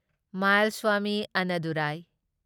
Mayilswamy Annadurai